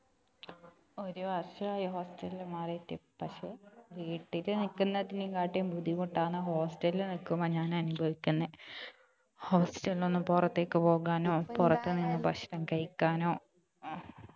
ഒരു വർഷായി hostel മാറിയിയിട്ട് പക്ഷെ വീട്ടിൽ നിക്കുന്നതിനെക്കാട്ടി ബുദ്ധിമുട്ടാണ് hostel നിക്കുമ്പോ ഞാൻ അനുഭവിക്കുന്നെ hostel നൊന്ന് പുറത്തേക്ക് പോവാനോ പുറത്തു നിന്ന് ഭക്ഷണം കഴിക്കാനോ